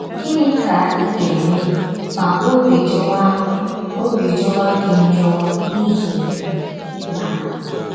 Gịnị ka ị ga - eme ma ọbi jọwa ọbi jọwa gị njọ n’ihi na